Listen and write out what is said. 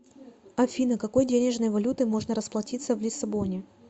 афина какой денежной валютой можно расплатиться в лиссабоне